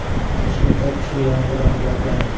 Toshkentda kuchli yomg‘ir oqibatlari.